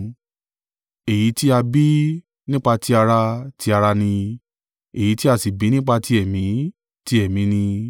Èyí tí a bí nípa ti ara, ti ara ni; èyí tí a sì bí nípa ti Ẹ̀mí, ti Ẹ̀mí ni.